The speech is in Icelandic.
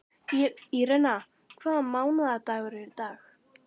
Írena, hvaða mánaðardagur er í dag?